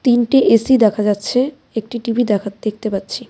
তিনটি এ_সি দেখা যাচ্ছে একটি টি_ভি দেখাত দেখতে পাচ্ছি।